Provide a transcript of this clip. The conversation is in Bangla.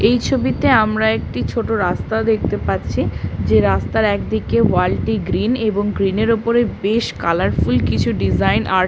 এই ছবিতে আমরা একটি ছোট রাস্তা দেখতে পাচ্ছি। যে রাস্তার একদিকে ওয়াল টি গ্রীন এবং গ্রিন এর ওপরে বেশ কালার ফুল কিছু ডিজাইন আর--